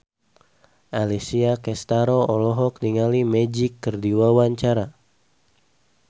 Alessia Cestaro olohok ningali Magic keur diwawancara